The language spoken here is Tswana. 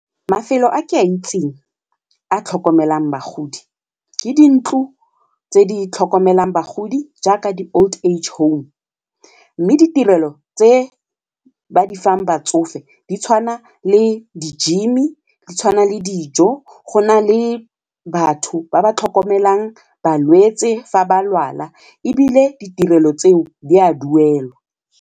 Mafelo a ke a itseng a tlhokomelang bagodi ke dintlo tse di tlhokomelang bagodi jaaka di-old age home mme ditirelo tse ba di fang fa di tshwana le di-gym-i, di tshwana le dijo go na le batho ba ba tlhokomelang balwetse fa ba lwala ebile ditirelo tseo di a duelwa.